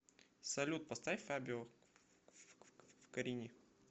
салют поставь фабио карлини